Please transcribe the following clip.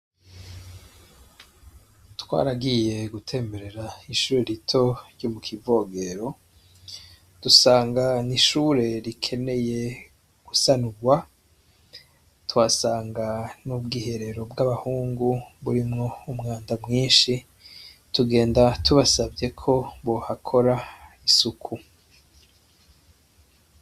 Twaragiye gutemberera ishure rito ry'mu kivogero dusanga n' ishure rikeneye gusanurwa twasanga n'ubwiherero bw'abahungu burimwo umwanda mwinshi tugenda tubasavyeko bohakora isuku.